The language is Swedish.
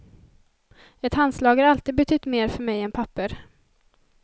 Ett handslag har alltid betytt mer för mig än papper.